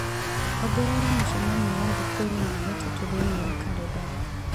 ongerera mũcemanio wa thikũ ĩno ya gatatũ thĩinĩ wa kalendarĩ